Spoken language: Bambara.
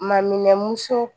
Maminɛn muso